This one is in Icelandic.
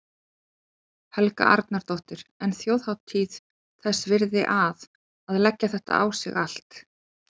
Helga Arnardóttir: En þjóðhátíð þess virði að, að leggja þetta á sig allt?